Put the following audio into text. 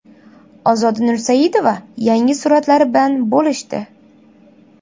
Ozoda Nursaidova yangi suratlari bilan bo‘lishdi.